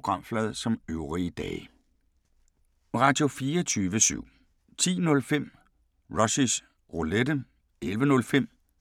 Samme programflade som øvrige dage